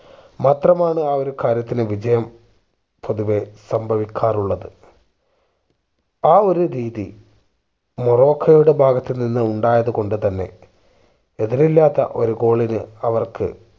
മാത്രമാണ് ആ ഒരു കാര്യത്തിന് വിജയം പൊതുവെ സംഭവിക്കാറുള്ളത് ആ ഒരു രീതി മൊറോക്കോയുടെ ഭാഗത്തു നിന്ന് ഉണ്ടായത് കൊണ്ട് തന്നെ എതിരില്ലാത്ത ഒരു goal നു അവർക്ക്